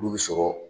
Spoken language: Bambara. Olu bɛ sɔrɔ